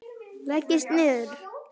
Leggist niður.